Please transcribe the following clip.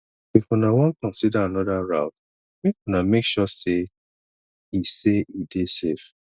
if una wan consider anoda route make una make sure sey e sey e dey safe